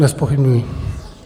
Nezpochybňuji.